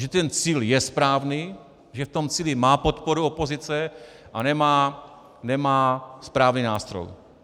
Že ten cíl je správný, že v tom cíli má podporu opozice, ale nemá správný nástroj.